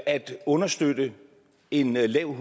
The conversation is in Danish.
understøtte en lav